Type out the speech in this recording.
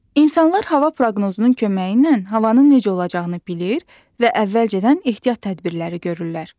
İnsanlar hava proqnozunun köməyi ilə havanın necə olacağını bilir və əvvəlcədən ehtiyat tədbirləri görürlər.